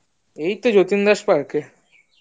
এই তো যতীন দাস park